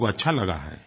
लोगों को अच्छा लगा है